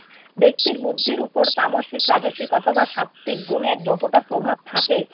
ব্যক্তির বুদ্ধির উপর তামসিক রাজসিক অথবা সাত্ত্বিক গুণের যতটা প্রভাব থাকে,